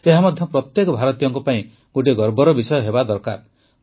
ଏହାମଧ୍ୟ ପ୍ରତ୍ୟେକ ଭାରତୀୟଙ୍କ ପାଇଁ ଗୋଟିଏ ଗର୍ବର ବିଷୟ ହେବା ଦରକାର